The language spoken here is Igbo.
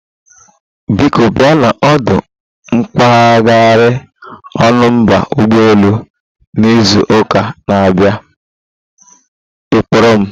Biko bia na ọdụ mpaghara Ọnụ mba ụgbọ elu na izu ụka na-abịa ịkpọrọ m